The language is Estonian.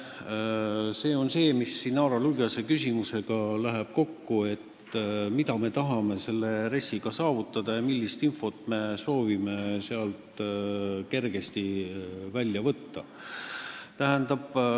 See läheb kokku Inara Luigase küsimusega, et mida me tahame RES-iga saavutada ja millist infot me soovime sealt kergesti kätte saada.